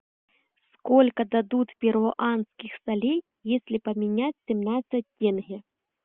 сколько дадут перуанских солей если поменять семнадцать тенге